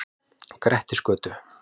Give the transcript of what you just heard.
Grettisgötu